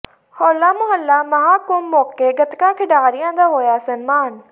ਹੋਲਾ ਮੁਹੱਲਾ ਮਹਾਂ ਕੁੰਭ ਮੋਕੇ ਗਤਕਾ ਖਿਡਾਰੀਆਂ ਦਾ ਹੋਇਆ ਸਨਮਾਨ